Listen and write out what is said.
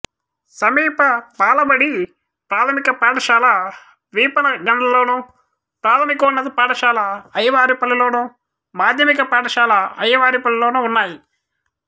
సమీప బాలబడి ప్రాథమిక పాఠశాల వీపనగండ్లలోను ప్రాథమికోన్నత పాఠశాల అయ్యవారిపల్లిలోను మాధ్యమిక పాఠశాల అయ్యవారిపల్లిలోనూ ఉన్నాయి